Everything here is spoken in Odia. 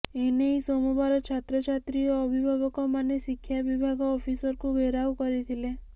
ଏ ନେଇ ସୋମବାର ଛାତ୍ରଛାତ୍ରୀ ଓ ଅଭିଭାବକମାନେ ଶିକ୍ଷା ବିଭାଗ ଅଫିସକୁ ଘେରାଉ କରିଥିଲେ